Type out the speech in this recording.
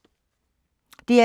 DR2